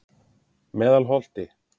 Meðalholti